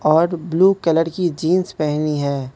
और blue colour की jeans पहनी है।